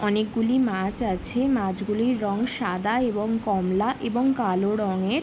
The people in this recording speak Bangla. অনেকগুলি মাছ আছে। মাছগুলির রং সাদা এবং কমলা এবং কালো রঙের।